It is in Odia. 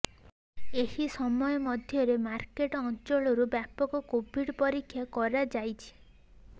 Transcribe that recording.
ଏହି ସମୟ ମଧ୍ୟରେ ମାର୍କେଟ ଅଞ୍ଚଳରୁ ବ୍ୟାପକ କୋଭିଡ୍ ପରୀକ୍ଷା କରାଯାଇଛି